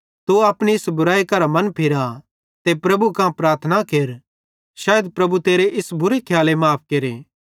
तू अपनी इस बुरैई करां मनफिरा ते प्रभु कां प्रार्थना केर शैइद प्रभु तेरी इस बुरे खियाले माफ़ केरे